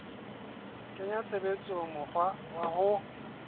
kenya tshebetsong mokgwa wa ho